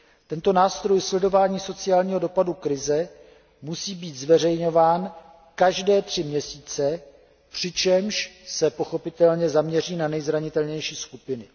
Tento nástroj sledování sociálního dopadu krize musí být zveřejňován každé tři měsíce, přičemž se pochopitelně zaměří zejména na nejzranitelnější skupiny.